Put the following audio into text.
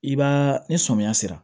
I b'a ni sɔmiya sera